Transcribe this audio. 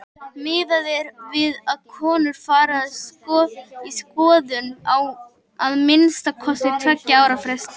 Miðað er við að konur fari í skoðun á að minnsta kosti tveggja ára fresti.